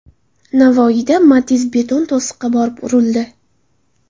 Navoiyda Matiz beton to‘siqqa borib urildi.